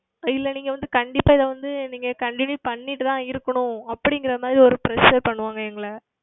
இல்லை நீங்கள் வந்து கண்டிப்பாக இதை வந்து நீங்கள் Continue செய்து கொண்டு தான் இருக்கனும் அப்படி என்பது மாதிரி ஓர் Pressure செய்து கொண்டு இருப்பார்கள் எங்களை